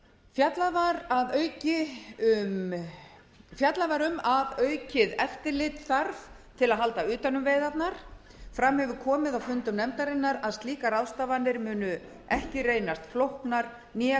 fjallað var um aukið eftirlitsstarf til að halda utan um veiðarnar fram hefur komið á fundum nefndarinnar að slíkar ráðstafanir munu ekki reynast flóknar né